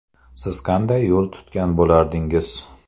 Siz qanday yo‘l tutgan bo‘lardingiz?